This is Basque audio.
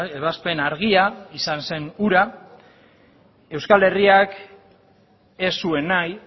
ebazpen argia izan zen hura euskal herriak ez zuen nahi